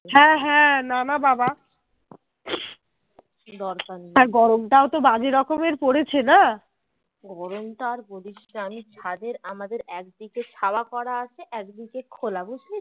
গরম টা আর বলিসনা আমি ছাদে আমি আমাদের ছাদের একদিকে ছাওয়া করা আছে আর এদকিদেক খোলে বুঝলি তো